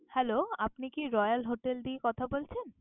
Hello আপনি কি Royal Hotel দিয়ে কথা বলছেন?